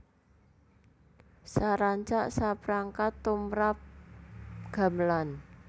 Sarancak saprangkat tumrap gamelan